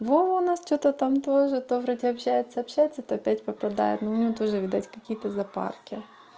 вова у нас что-то там тоже то вроде общается общается то опять попадает но у меня тоже видать какие-то запарки